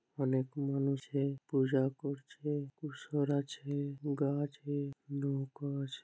অনেক মানুষের পূজা করছে বসে রয়েছে।